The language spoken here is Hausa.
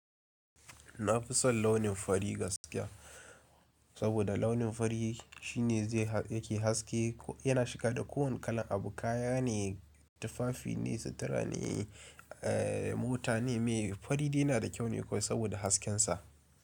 Na fi son launin fari gaskiya, saboda launin fari shine zai yake haske. Yana shiga da kowane kalan abu. Kaya ne, tufafi ne, sutura ne, eh mota ne. Mai fari dai yana da kyau ne kawai saboda hasken sa.